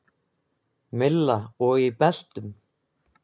Milla: Og í beltum?